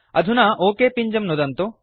अधुना ओक पिञ्जं नुदन्तु